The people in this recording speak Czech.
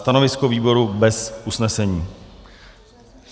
Stanovisko výboru - bez usnesení.